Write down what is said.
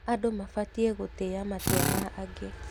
Andũ mabatiĩ gũtĩa matua ma angĩ.